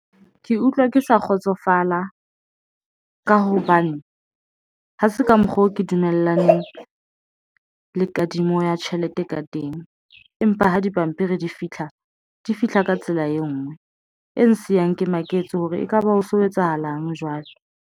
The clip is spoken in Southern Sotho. Ke utlwa ke sa kgotsofala ka hobane ha se ka mokgwa oo ke dumellang le kadimo ya tjhelete ka teng. Empa ha dipampiri di fitlha di fihla ka tsela e ngwe e ngsiang, ke maketse hore ekaba ho so etsahalang jwalo.